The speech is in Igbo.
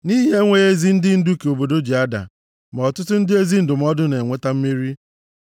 Nʼihi enweghị ezi ndị ndu ka obodo ji ada, ma ọtụtụ ndị ezi ndụmọdụ na-eweta mmeri.